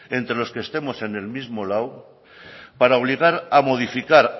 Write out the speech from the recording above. entre los que estemos en el mismo lado para obligar a modificar